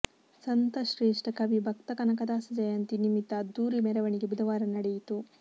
ಸಂತಶ್ರೇಷ್ಠ ಕವಿ ಭಕ್ತ ಕನಕದಾಸ ಜಯಂತಿ ನಿಮಿತ್ತ ಅದ್ಧೂರಿ ಮೆರವಣಿಗೆ ಬುಧವಾರ ನಡೆಯಿತು